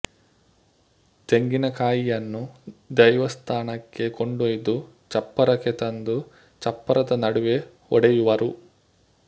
ತೆಂಗಿನಕಾಯಿಯನ್ನು ದೈವಸ್ಥಾನಕ್ಕೆ ಕೊಂಡೊಯ್ದು ಚಪ್ಪರಕ್ಕೆ ತಂದು ಚಪ್ಪರದ ನಡುವೆ ಹೊಡೆಯುವರು